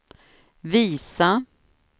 visa